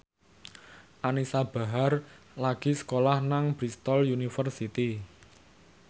Anisa Bahar lagi sekolah nang Bristol university